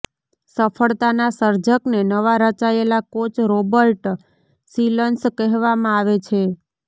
સફળતાના સર્જકને નવા રચાયેલા કોચ રોબર્ટ શિલન્સ કહેવામાં આવે છે